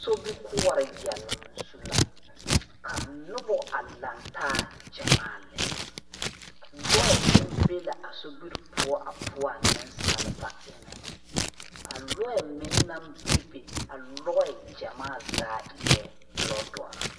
Sobikuore yɛlung zu la ka nuba a langtaa jamaa lɛ lɔɛ meng be la a sobiri puo a puo a ninsaaliba ba enga a loɛ meng nang bebe a loɛ jamaa zaa eei loɔ dɔri.